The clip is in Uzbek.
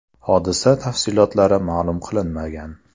Hodisa tafsilotlari ma’lum qilinmagan.